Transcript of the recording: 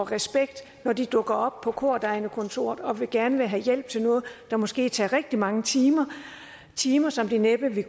respekt når de dukker op på kordegnekontoret og gerne vil have hjælp til noget der måske tager rigtig mange timer timer som der næppe ville